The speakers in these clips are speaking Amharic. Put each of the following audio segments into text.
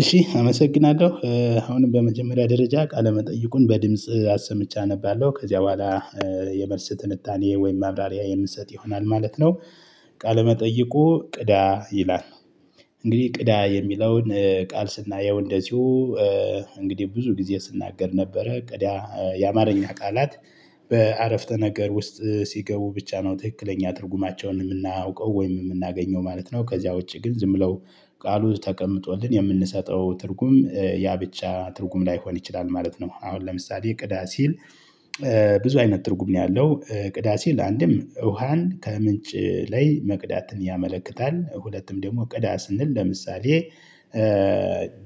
እሺ አመሰግናለሁ አሁንም በመጀመሪያ ደረጃ ቃለመጠይቁን በድምጽ አሰምቼ አነባለሁ ከዚያ በኋላ የመልስ ትንታኔ ወይም ማብራሪያ የምሰጥ ይሆናል ማለት ነው። ቃለመጠይቁ ቅዳ ይላል። እንግዲህ ቅዳ የሚለውን ቃል ስናየው እንደዚሁ እንግዲህ ብዙ ጊዜ ስናገር ነበረ ቀዲያ የአማርኛ ቃላት። በአረፍተ ነገር ውስጥ ሲገቡ ብቻ ነው ትክክለኛ አድርጉማቸውን የምናውቀው ወይም የምናገኘው ማለት ነው ከዚያ ውጪ ግን ዝም ብለው ቃሉ ተቀምጦልን የምንሰጠው ትርጉም ያ ብቻ ትርጉም ላይሆን ይችላል ማለት ነው። አሁን ለምሳሌ ቅዳ ሲል። ብዙ አይነት ትርጉም ነው ያለው ቅዳ ሲል አንድም ውሃን ከምንጭ ላይ መቅዳትን ያመለክታል። ሁለትም ደግሞ ቅዳ ስንል ለምሳሌ።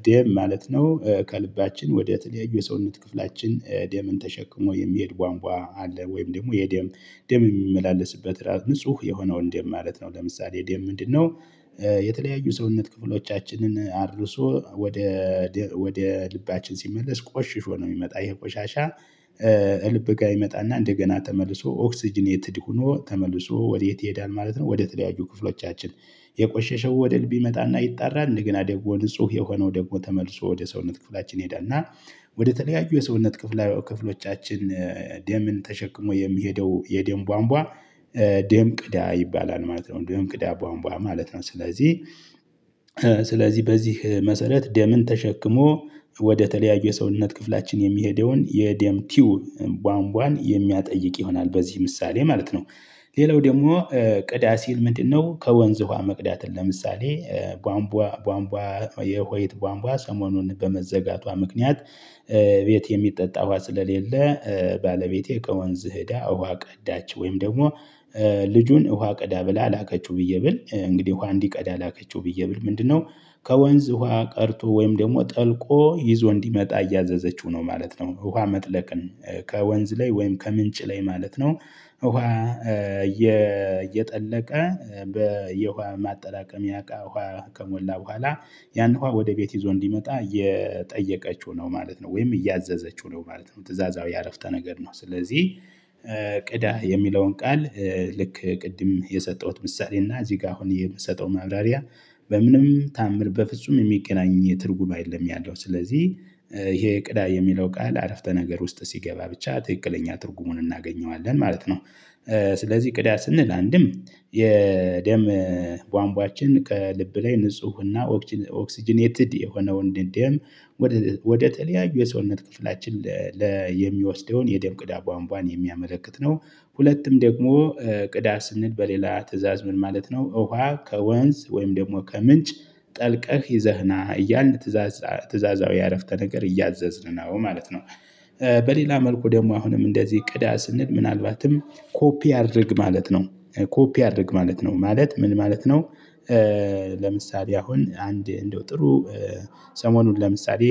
ደም ማለት ነው ከልባችን ወደ ተለያዩ የሰውነት ክፍላችን ደምን ተሸክሞ የሚሄድ ቧንቧ አለ ወይም ደግሞ የደም ደም የሚመላለስበት ንጹህ የሆነው ደም ማለት ነው። ለምሳሌ ደም ምንድነው? የተለያዩ ሰውነት ክፍሎቻችንን አድርሶ ወደ ወደ ልባችን ሲመለስ ቆሽሾ ነው የሚመጣ ይሄ ቆሻሻ። ከልብ ጋር ይመጣና እንደገና ተመልሶ ኦክስጅን ሆኖ ተመልሶ ወዴት ይሄዳል ማለት ነው። ወደ ተለያዩ ክፍሎቻችን። የቆሸሸው ወደ ልብ ይመጣና ይጣራል እንደገና ደሞ ንጹህ የሆነው ደሞ ተመልሶ ወደ ሰውነት ክፍላችን እና ወደተለያዩ የሰውነት ክፍል ክፍሎቻችን። ደምን ተሸክሞ የሚሄደው የደም ቧንቧ ደም ቅዳ ይባላል ማለት ነው። ደም ቅዳ ቧንቧ ማለት ነው። ስለዚህ ስለዚህ በዚህ መሰረት ደምን ተሸክሞ ወደተለያዩ የሰውነት ክፍላችን የሚሄደውን የደም ቲውብ ቧንቧን የሚያጠይቅ ይሆናል በዚህ ምሳሌ ማለት ነው። ሌላው ደግሞ ቅዳ ሲል ምንድነው? ከወንዝ ውሃ መቅዳትን ለምሳሌ ቧንቧ ቧንቧ የሆይት ባንቧ ሰሞኑን በመዘጋቷ ምክንያት። ቤት የሚጠጣ ስለሌለ። ባለቤቴ ከወንዝ ሄዳ ውሃ ቀዳች። ወይም ደግሞ ልጁን ውሃ ቅዳ ብላ ላከችው ብዬ ብል እንግዲህ ውሃ እንዲቀዳ ላከችው ብዬ ብል ምንድነው? ከወንዝ ውሃ ቀድቶ ወይም ደግሞ ጠልቆ ይዞ እንዲመጣ እያዘዘችው ነው ማለት ነው። ውሃ መጥለቅን ከወንዝ ላይ ወይም ከምንጭ ላይ ማለት ነው። ውሃ እየጠለቀ የውሃ ማጠራቀምያ ውሃ ከሞላ በኋላ ያንን ውሃ ወደ ቤት ይዞ እንዲመጣ እየጠየቀችው ነው ማለት ነው። ወይም እያዘዘችው ነው ማለት ነው። ትእዛዛዊ ዓረፍተ ነገር ነው። ስለዚህ ቅዳ የሚለውን ቃል ልክ ቅድም የሰጠሁት ምሳሌ እና እዚህ ጋር አሁን የምሰጠው መብራሪያ። በምንም ተአምር በፍጹም የሚገናኝ ትርጉም አይደለም ያለው ስለዚህ ይሄ ቅዳ የሚለው ቃል አረፍተ ነገር ውስጥ ሲገባ ብቻ ጥክክለኛ ትርጉሙን እናገኘዋለን ማለት ነው። ስለዚህ ቅዳ ስንል አንድም የደም ቧንቧችን ከልብ ላይ ንፁህና ኦክስጅኔትድ የሆነውን ደም ወደ ተለያዩ የሰውነት ክፍላችን የሚወስደውን የደም ቅዳ ባንቧን የሚያመለክት ነው። ሁለቱም ደግሞ ቅዳ ስንል በሌላ ትእዛዝ ምን ማለት ነው? እውሃ ከወንዝ ወይም ደግሞ ከምንጭ ጠልቀህ ይዘህ ና እያልን ትዕዛዛ ትእዛዛዊ አረፍተ ነገር እያዘዝን ነው ማለት ነው። በሌላ መልኩ ደግሞ አሁንም እንደዚህ ቅዳ ስንል ምናልባትም ኮፒ አድርግ ማለት ነው። ኮፒ አድርግ ማለት ነው። ማለት ምን ማለት ነው? ለምሳሌ አሁን አንድ እንደው ጥሩ ሰሞኑን ለምሳሌ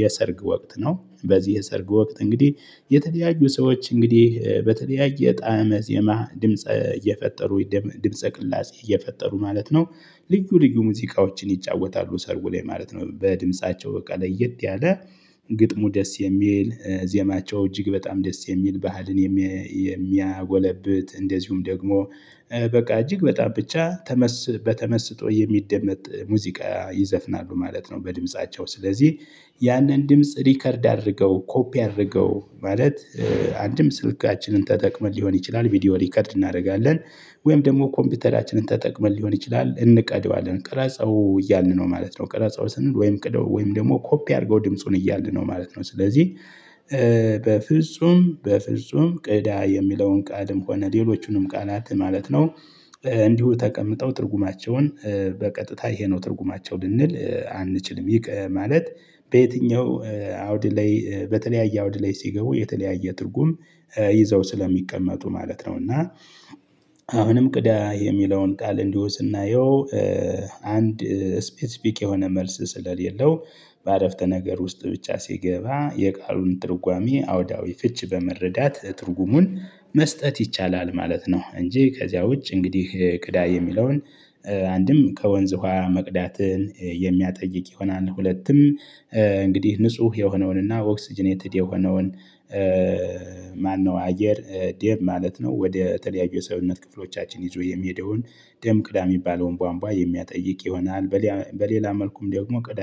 የሰርግ ወቅት ነው። በዚህ የሰርግ ወቅት እንግዲህ የተለያዩ ሰዎች እንግዲህ በተለያየ ጣዕመ ዜማ ድምፀ እየፈጠሩ ድምፀ ቅላጼ እየፈጠሩ ማለት ነው። ልዩ ልዩ ሙዚቃዎችን ይጫወታሉ ሰርጉ ላይ ማለት ነው በድምፃቸው በቃ ለየት ያለ ግጥሙ ደስ የሚል ዜማቸው እጅግ በጣም ደስ የሚል ባህልን የሚያጎለብት እንደዚሁም ደግሞ በቃ እጅግ በጣም ብቻ በተመስጦ የሚደመጥ ሙዚቃ ይዘፍናሉ ማለት ነው። በድምፃቸው ስለዚህ ያንን ድምጽ ሪከርድ አድርገው ኮፒ አድርገው ማለት አንድም ስልካችንን ተጠቅመን ሊሆን ይችላል ቪዲዮ ሪከርድ እናደርጋለን። ወይም ደግሞ ኮምፒውተራችንን ተጠቅመን ሊሆን ይችላል እንቀዳዋለን ቀረጸው እያልን ነው ማለት ነው። ቀረጸው ስንል ወይም ቅዳው ወይም ደግሞ ኮፒ አድርገው ድምጹን እያልን ነው ማለት ነው። ስለዚህ በፍጹም በፍጹም ቅዳ የሚለውን ቃልም ሆነ ሌሎቹንም ቃላት ማለት ነው። እንዲሁ ተቀምጠው ትርጉማቸውን በቀጥታ ይሄ ነው ትርጉማቸው ልንል አንችልም። ይህ ማለት በየትኛው አውድ ላይ በተለያየ አውድ ላይ ሲገቡ የተለያየ ትርጉም ይዘው ስለሚቀመጡ ማለት ነው። እና አሁንም ቅዳ የሚለውን ቃል እንዲሁ ስናየው አንድ ስፔሲፊክ የሆነ መልስ ስለሌለው በአረፍተ ነገር ውስጥ ብቻ ሲገባ የቃሉን ትርጓሜ አውዳዊ ፍቺ በመረዳት ትርጉሙን መስጠት ይቻላል። ማለት ነው። እንጂ ከዚያ ውጭ እንግዲህ ቅዳ የሚለውን አንድም ከወንዝ ውሃ መቅዳትን የሚያጠይቅ ይሆናል። ሁለቱም እንግዲህ ንጹህ የሆነውን እና ኦክስጅኔትድ የሆነውን ማነው አየር? ዴቭ ማለት ነው ወደ ተለያዩ የሰውነት ክፍሎቻችን ይዞ የሚሄደውን ደም ቅዳሜ የሚባለውን ቧንቧ የሚያጠይቅ ይሆናል። በሌላ መልኩም ደግሞ ቅዳ